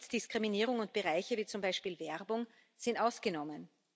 Immer noch gibt es Diskriminierung, und Bereiche wie zum Beispiel Werbung sind ausgenommen.